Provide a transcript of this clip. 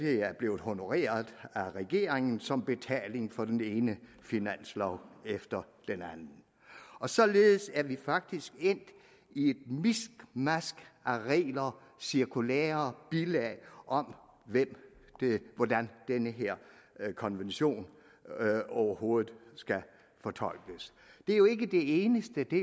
er blevet honoreret af regeringen som betaling for den ene finanslov efter den anden og således er vi faktisk endt i et miskmask af regler cirkulærer og bilag om hvordan den her konvention overhovedet skal fortolkes det er jo ikke det eneste det